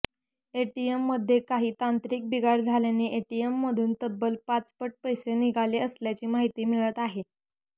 एटीएममध्ये काही तांत्रिक बिघाड झाल्याने एटीएममधून तब्बल पाचपट पैसे निघाले असल्याची माहिती मिळत आहे